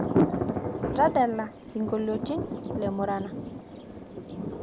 tadala singolioti le murana